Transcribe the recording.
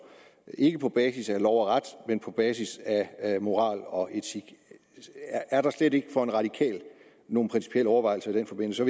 ikke på basis af lov og ret men på basis af moral og etik er der slet ikke for en radikal nogle principielle overvejelser i den forbindelse